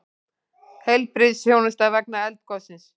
Heilbrigðisþjónusta vegna eldgossins